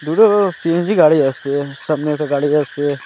দুটো সি_এন_জি গাড়ি আসছে সামনে একটা গাড়ি যাচ্ছে।